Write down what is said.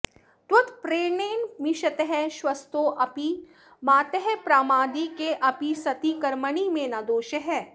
त्वत्प्रेरणेन मिषतः श्वसतोऽपि मातः प्रामादिकेऽपि सति कर्मणि मे न दोषः